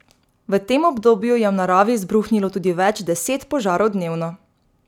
V tem obdobju je v naravi izbruhnilo tudi več deset požarov dnevno.